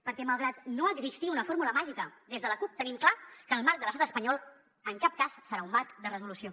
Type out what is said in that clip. perquè malgrat no existir una fórmula màgica des de la cup tenim clar que el marc de l’estat espanyol en cap cas serà un marc de resolució